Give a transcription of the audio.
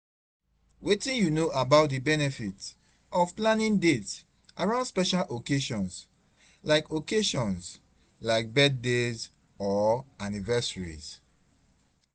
Wetin you know about di benefits of planning dates around special occasions, like occasions, like birthdays or anniversaries?